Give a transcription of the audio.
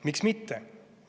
Miks mitte?